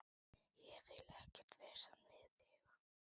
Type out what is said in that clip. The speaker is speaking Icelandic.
Ég vil ekkert vesen við þig.